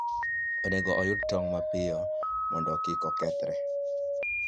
Onego oyud tong' mapiyo mondo kik okethre.